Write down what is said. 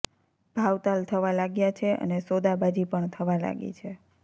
ભાવતાલ થવા લાગ્યા છે અને સોદાબાજી પણ થવા લાગી છે